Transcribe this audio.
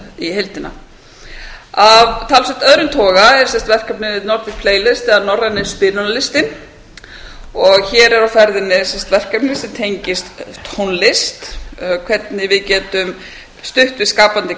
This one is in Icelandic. í heildina af talsvert öðrum toga er verkefnið nordic playlist eða norræni spilunarlistinn hér er á ferðinni verkefni sem tengist tónlist hvernig við getum stutt við skapandi